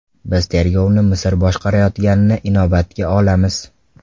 Biz tergovni Misr boshqarayotganini inobatga olamiz.